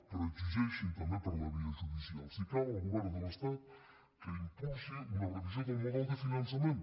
però exigeixin també per la via judicial si cal al govern de l’estat que impulsi una revisió del model de finançament